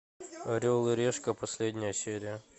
орел и решка последняя серия